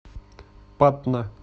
патна